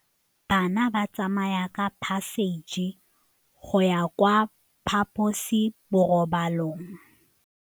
Bana ba tsamaya ka phašitshe go ya kwa phaposiborobalong.